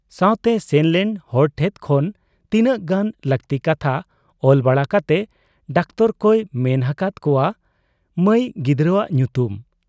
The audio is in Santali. ᱥᱟᱶᱛᱮ ᱥᱮᱱᱞᱮᱱ ᱦᱚᱲ ᱴᱷᱮᱫ ᱠᱷᱚᱱᱛᱤᱱᱟᱹᱜ ᱜᱟᱱ ᱞᱟᱹᱠᱛᱤ ᱠᱟᱛᱷᱟ ᱚᱞ ᱵᱟᱲᱟ ᱠᱟᱛᱮ ᱰᱟᱠᱛᱚᱨ ᱠᱚᱭ ᱢᱮᱱ ᱟᱠᱟᱦᱟᱫ ᱠᱚᱣᱟ ᱢᱟᱹᱩ ᱜᱤᱫᱟᱹᱨᱟᱜ ᱧᱩᱛᱩᱢ ᱾